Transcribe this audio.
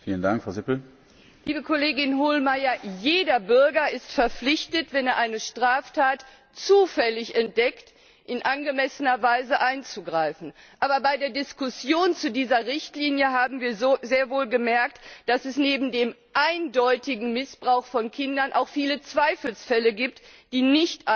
Liebe Kollegin Hohlmeier, jeder Bürger ist verpflichtet, wenn er eine Straftat zufällig entdeckt, in angemessener Weise einzugreifen. Aber bei der Diskussion zu dieser Richtlinie haben wir sehr wohl gemerkt, dass es neben dem eindeutigen Missbrauch von Kindern auch viele Zweifelsfälle gibt, die nicht eindeutig sind.